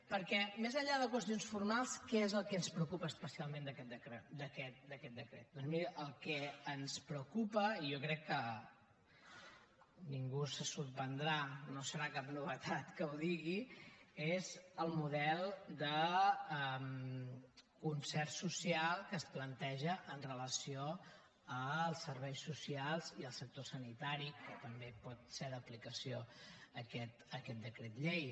perquè més enllà de qüestions formals què és el que ens preocupa especialment d’aquest decret doncs miri el que ens preocupa i jo crec que ningú se sorprendrà no serà cap novetat que ho digui és el model de concert social que es planteja amb relació als serveis socials i al sector sanitari en què també pot ser d’aplicació aquest decret llei